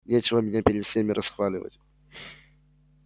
нечего меня перед всеми расхваливать